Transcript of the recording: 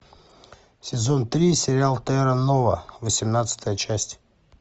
сезон три сериал терра нова восемнадцатая часть